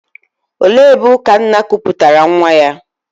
Olee ebe Ukanna kuputara nwa ya?